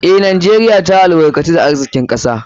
Eh, Najeriya ta albarkatu da arzikin kasa.